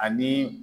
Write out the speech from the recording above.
Ani